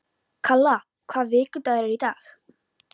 Kalla, hvaða vikudagur er í dag?